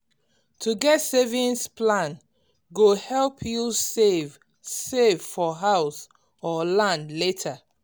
to get savings plan go help you save save for house or land later